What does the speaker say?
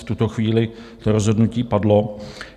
V tuto chvíli to rozhodnutí padlo.